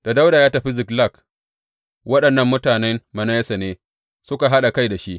Da Dawuda ya tafi Ziklag, waɗannan mutanen Manasse ne suka haɗa kai da shi.